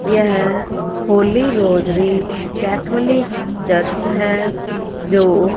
यह Holy Rosary Catholic Church है जो--